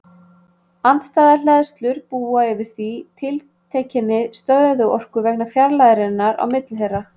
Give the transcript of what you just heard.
Andstæðar hleðslur búa því yfir tiltekinni stöðuorku vegna fjarlægðarinnar á milli þeirra.